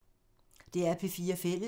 DR P4 Fælles